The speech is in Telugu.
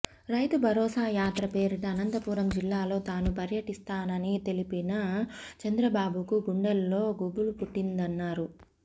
రైతు భరోసా యాత్ర పేరిట అనంతపురం జిల్లాలో తాను పర్యటిస్తానని తెలిసిన చంద్రబాబుకు గుండెల్లో గుబులు పుట్టిందన్నారు